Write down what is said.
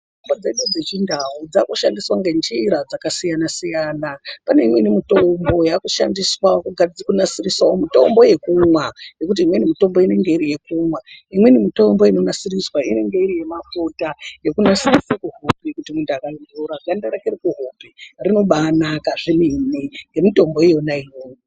Mitombo dzedu dzechindau dzakushandiswa nenjira dzakasiyana siyana pane imweni mitombo yakushandiswa kunasirisa mitombo yekumwa ngekuti imweni mitombo inonasiriswa inenge iri yemafuta yekunasirisa kuhope kuti muntu akaazora ganda rake rekuhope rinobanaka zvemene nemitombo yake iyoyo.